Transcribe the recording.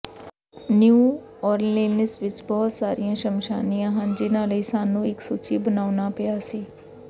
new Orleans ਵਿੱਚ ਬਹੁਤ ਸਾਰੀਆਂ ਸ਼ਮਸ਼ਾਨੀਆਂ ਹਨ ਜਿਨ੍ਹਾਂ ਲਈ ਸਾਨੂੰ ਇੱਕ ਸੂਚੀ ਬਣਾਉਣਾ ਪਿਆ ਸੀ